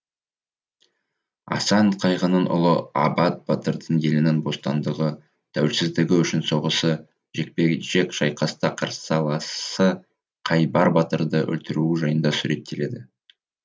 асан қайғының ұлы абат батырдың елінің бостандығы тәуелсіздігі үшін соғысы жекпе жек шайқаста қарсыласы қайбар батырды өлтіруі жайында суреттеледі